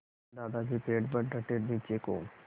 दादाजी पेड़ पर डटे नीचे को